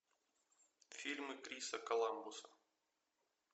фильмы криса коламбуса